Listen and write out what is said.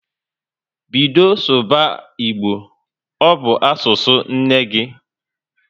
Bido sụba Igbo! Ọ bụ asụsụ nne gị